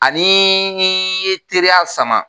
Ani ni ye teriya sama